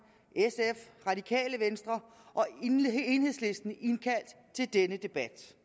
sf radikale venstre og enhedslisten indkaldt til denne debat